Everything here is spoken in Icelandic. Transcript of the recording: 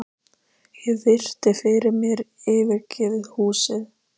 Ég virti fyrir mér yfirgefið húsið.